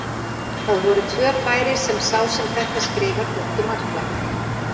Það voru tvö færi sem sá sem þetta skrifar þóttu markverð.